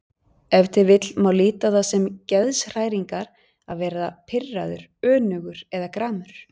Ef til vill má líta á það sem geðshræringar að vera pirraður, önugur eða gramur.